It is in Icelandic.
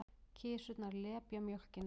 Kisurnar lepja mjólkina.